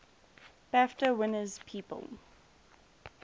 bafta winners people